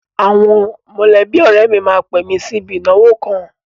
Àwọn mọ̀lẹ́bí ọ̀rẹ́ mi máa pè mi sí ibi ìnáwó kan.